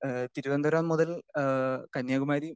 speaker 2 അഹ് തിരുവനന്തപുരം മുതൽ അഹ് കന്യാകുമാരി